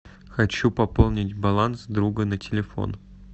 хочу пополнить баланс друга на телефон